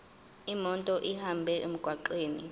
imoto ihambe emgwaqweni